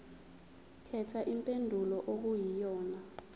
khetha impendulo okuyiyona